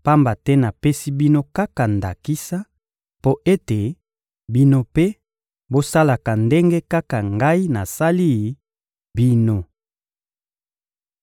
pamba te napesi bino kaka ndakisa, mpo ete, bino mpe, bosalaka ndenge kaka Ngai nasali bino.